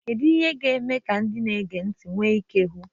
Kedu ihe ga-eme ka ndị na-ege ntị nwee ike ịhụ?